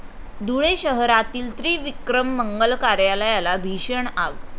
धुळे शहरातील त्रिविक्रम मंगल कार्यालयाला भीषण आग